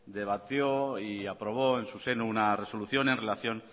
debatió y aprobó en su seno una resolución en relación